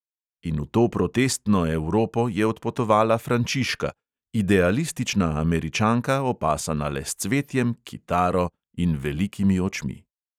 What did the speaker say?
In v to protestno evropo je odpotovala frančiška, idealistična američanka, opasana le s cvetjem, kitaro in velikimi očmi.